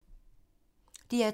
DR2